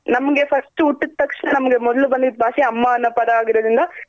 ನಮ್ಗೆ first ಹುಟ್ಟಿದ್ ತಕ್ಷಣ ನಮ್ಗ್ ಮೊದ್ಲು ಬಂದಿದ್ ಭಾಷೆ ಅಮ್ಮಅನ್ನೋ ಪದ ಆಗಿರೋದ್ರಿಂದ.